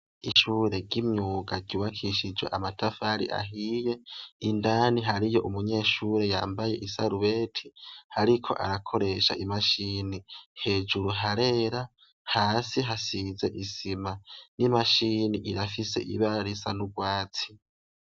Ishure ry'imyuga ryubakishijwe amatafari ahiye, indani hariyo umunyeshure yambaye isarubete ariko arakoresha imashini. Hejuru harera, hasi hasize isima n'imashini irafise ibara risa n'urwatsi.